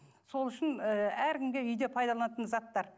сол үшін ы әркімге үйде пайдаланатын заттар